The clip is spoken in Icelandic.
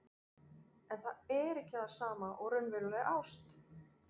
En það er ekki það sama og raunveruleg ást.